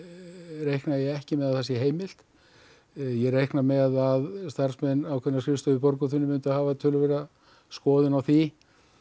reikna ég ekki með því að það sé heimilt ég reikna með að starfsmenn ákveðinnar skrifstofu í Borgartúni hafi töluverða skoðun á því